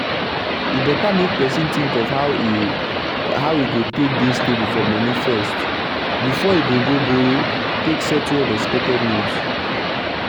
e beta make persin tink of how e how e go take dey stable for moni first before e go go borrow take settle unexpected need